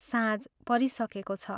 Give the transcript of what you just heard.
साँझ परिसकेको छ।